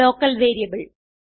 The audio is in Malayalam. local variable